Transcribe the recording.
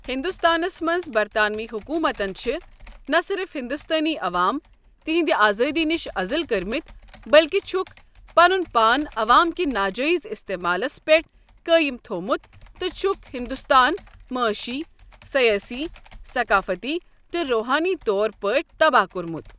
ہندوستانس منٛز برطانوی حُکوٗمتن چھِ نہ صرف ہندوستٲنی عوام تہنٛدِ آزٲدی نِش أزٕل کوٚڑمت بلکہ چھکھ پَنُن پان عوام کہِ ناجٲیِز اِستعمالس پٮ۪ٹھ قٲیم تھوومُت تہٕ چھکھ ہندوستان معٲشی، سیٲسی، ثقافتی تہٕ روحٲنی طور پٲٹھۍ تباہ کوٚرمُت۔